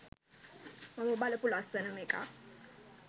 මම බලපු ලස්සනම එකක්